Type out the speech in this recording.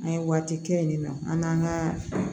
An ye waati kɛ yen nɔ an n'an ka